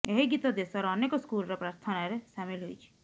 ଏହି ଗୀତ ଦେଶର ଅନେକ ସ୍କୁଲର ପ୍ରାର୍ଥନାରେ ସାମିଲ ହୋଇଛି